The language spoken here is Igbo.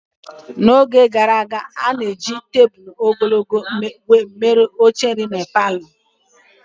N'oge gaara aga, a na-ejibu tebụl ogologo mere oche nri na palọ.